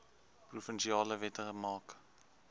provinsiale wette maak